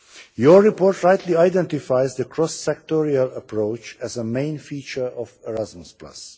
Your report rightly identifies the cross sectorial approach as a main feature of Erasmus.